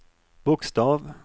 bokstav